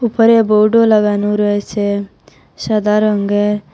পরে বোর্ডও লাগানো রয়েছে সাদা রঙ্গের।